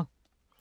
DR1